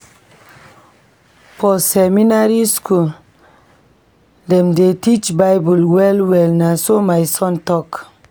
For seminary skool, dem dey teach BIble well-well, na so my son tok.